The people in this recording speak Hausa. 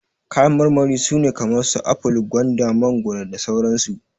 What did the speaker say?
Kayan marmari su ne kamar su aful, gwanda, mangoro, da sauran su.